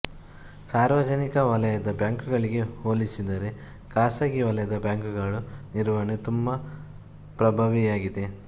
ಸಾರ್ವಜನಿಕ ವಲಯದ ಬ್ಯಾಂಕುಗಳಿಗೆ ಹೋಲಿಸಿದರೆ ಖಾಸಗಿ ವಲಯದ ಬ್ಯಾಂಕುಗಳು ನಿರ್ವಹಣೆ ತುಂಬಾ ಪ್ರಭಾವಿಯಾಗಿದೆ